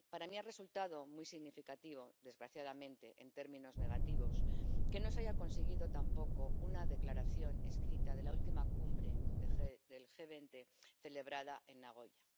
Para mí ha resultado muy significativo, desgraciadamente en términos negativos, que no se haya conseguido tampoco una declaración escrita de la última Cumbre del G20, celebrada en Nagoya.